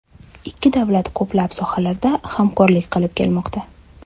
Ikki davlat ko‘plab sohalarda hamkorlik qilib kelmoqda.